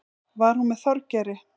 Var hún með Þorgeiri?